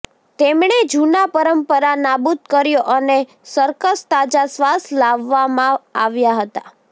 તેમણે જૂના પરંપરા નાબૂદ કર્યો અને સર્કસ તાજા શ્વાસ લાવવામાં આવ્યા હતા